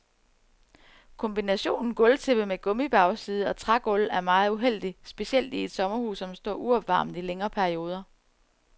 Kombinationen gulvtæppe med gummibagside og trægulv er meget uheldig, specielt i et sommerhus, som står uopvarmet i længere perioder.